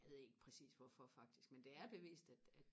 jeg ved ikke præcis hvorfor faktisk men det er bevist at at